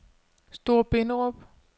Store Binderup